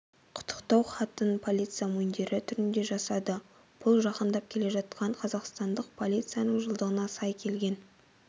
құттықтау хатын полиция мундирі түрінде жасады бұл жақындап келе жатқан қазақстандық полицияның жылдығына сай келген